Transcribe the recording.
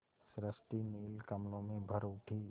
सृष्टि नील कमलों में भर उठी